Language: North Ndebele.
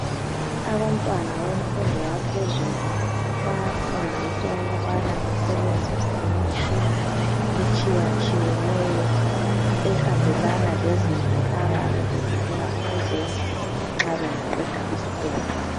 Abantwana bemfundo yaphezulu bayafundiswa ukubana basebenzise imitshina etshiyatshiyeneyo ehambelana lezinto abayabebefuna ukuzenza nxa bangaqeda isikolo.